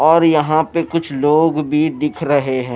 और यहां पे कुछ लोग भी दिख रहे हैं।